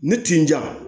Ne tin na